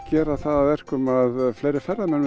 gera það að verkum að fleiri ferðamenn